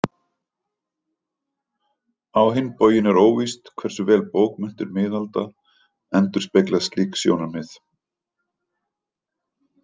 Á hinn bóginn er óvíst hversu vel bókmenntir miðalda endurspegla slík sjónarmið.